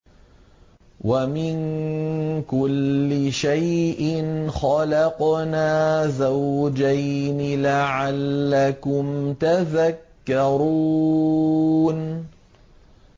وَمِن كُلِّ شَيْءٍ خَلَقْنَا زَوْجَيْنِ لَعَلَّكُمْ تَذَكَّرُونَ